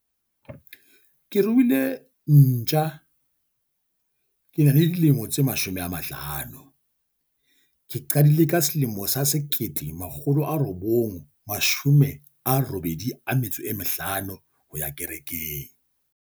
Ke ruile ntja. Ke na le dilemo tse mashome a mahlano. Ke qadile ka selemo sa sekete, makgolo a robong, mashome a robedi a metso e mehlano ho ya kerekeng.